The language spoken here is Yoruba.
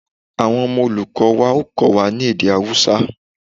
Awọn ọmọ olukọ wa o Kọ́wa ni èdè Awusa